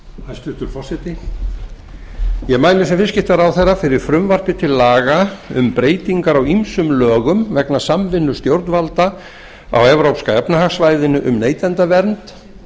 hæstvirtur forseti ég mæli sem viðskiptaráðherra fyrir frumvarpi til laga um breytingar á ýmsum lögum vegna samvinnu stjórnvalda á evrópska efnahagssvæðinu um neytendavernd